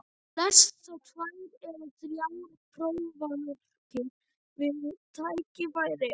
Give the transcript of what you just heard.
Þú lest þá tvær eða þrjár prófarkir við tækifæri.